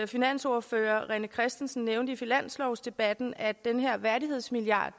finansordfører rené christensen nævnte i finanslovsdebatten at den her værdighedsmilliard